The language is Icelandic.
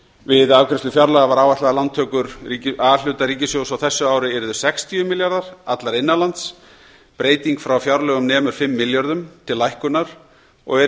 við afgreiðslu fjárlaga var áætlað að lántökur a hluta ríkissjóðs á þessu ári yrðu sextíu milljarðar allar innan lands breyting frá fjárlögum nemur fimm milljörðum til lækkunar og er í